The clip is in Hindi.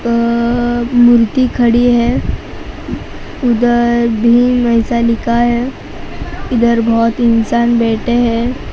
अं मूर्ति खड़ी है उधर भीम ऐसा लिखा है इधर बहोत इंसान बैठे हैं।